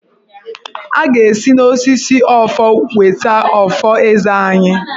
A ga-esi n'osisi ọfọ weta ọfọ Eze anyị.